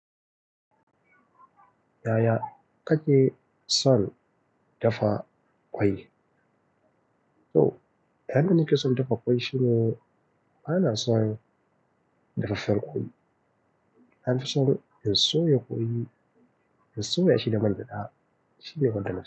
Yaya kake son dafa kwai? To, yadda nake son dafa kwai shine bana son daga farko. An fi so ya soya kwai, ya soya shi da man gyaɗa, shi ne magana.